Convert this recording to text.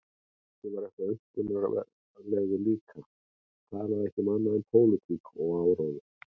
Doddi var eitthvað ankannalegur líka, talaði ekki um annað en pólitík og áróður.